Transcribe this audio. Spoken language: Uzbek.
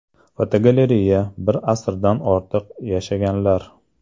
Fotogalereya: Bir asrdan ortiq yashaganlar.